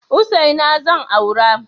Hussaina zan aura.